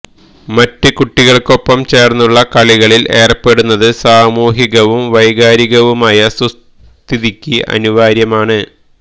മറ്റു കുട്ടികള്ക്കൊപ്പം ചേര്ന്നുള്ള കളികളില് ഏര്പ്പെടുന്നത് സാമൂഹികവും വൈകാരികവുമായ സുസ്ഥിതിക്ക് അനുവാര്യമാണ്